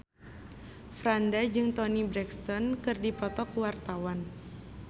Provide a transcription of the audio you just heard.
Franda jeung Toni Brexton keur dipoto ku wartawan